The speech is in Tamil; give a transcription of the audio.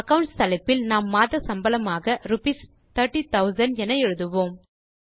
அக்கவுண்ட்ஸ் தலைப்பில் நாம் மாத சம்பளமாக ரூப்பீஸ் 30000 என எழுதுவோம்